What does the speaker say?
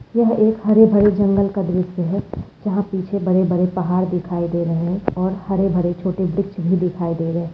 येहे एक हरे-भरे जंगल का दृश्य है हाँ पीछे बड़े-बड़े पहाड़ दिखाई दे रहे है और हरे-भरे छोटे बीच भी दिखाई दे रहे है।